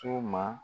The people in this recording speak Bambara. So ma